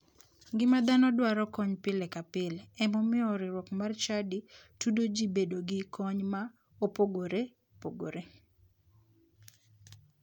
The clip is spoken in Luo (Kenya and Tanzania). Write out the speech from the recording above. Ngima dhano dwaro kony pile ka pile ema omiyo riwruok mar chadi tudo ji bedo gi kony ma opogore pogore.